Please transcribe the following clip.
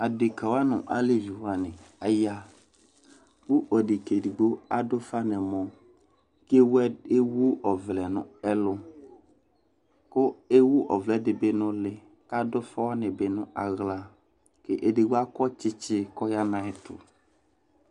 aɖeke nu aleʋiwani aya ku aɖeke edigbo adu uƒa nuɛmɔ ku ewuoʋlɛ nu ɛlu ku ewu oʋlɛ dibi nu uli ka adufawanibi nu axla ku edigbo ako tsitsi ku oya nu ayɛtu